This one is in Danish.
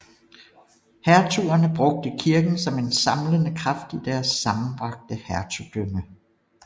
Hertugerne brugte kirken som en samlende kraft i deres sammenbragte hertugdømme